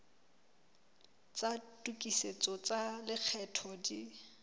tsa tokisetso tsa lekgetho di